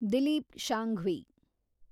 Dilip Shanghvi